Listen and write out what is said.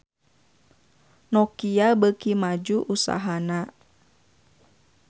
Nokia beuki maju usahana